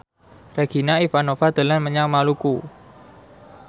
Regina Ivanova dolan menyang Maluku